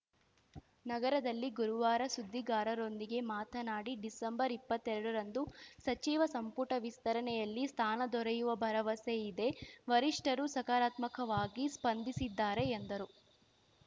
ನಗರದಲ್ಲಿ ಗುರುವಾರ ಸುದ್ದಿಗಾರರೊಂದಿಗೆ ಮಾತನಾಡಿ ಡಿಸೆಂಬರ್ಇಪ್ಪತ್ತೆರಡರಂದು ಸಚಿವ ಸಂಪುಟ ವಿಸ್ತರಣೆಯಲ್ಲಿ ಸ್ಥಾನ ದೊರೆಯುವ ಭರವಸೆ ಇದೆ ವರಿಷ್ಠರು ಸಕಾರಾತ್ಮಕವಾಗಿ ಸ್ಪಂದಿಸಿದ್ದಾರೆ ಎಂದರು